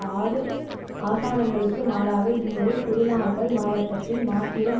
ஆறு ஆசனங்களுக்கு மாறாக இம்முறை குருணாகல் மாவட்டத்தில் மாத்திரம்